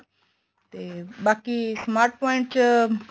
ਤੇ ਬਾਕੀ smart point ਚ